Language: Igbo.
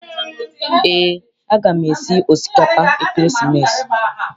Eé, a gam esi osikapa ekeresimesi.